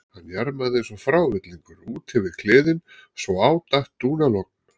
Hann jarmaði eins og frávillingur út yfir kliðinn svo á datt dúnalogn.